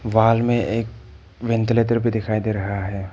Wall में एक ventilator भी दिखाई दे रहा है।